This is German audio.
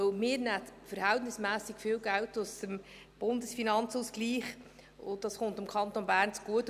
Denn wir nehmen verhältnismässig viel Geld aus dem Bundesfinanzausgleich, und das kommt dem Kanton Bern zugute.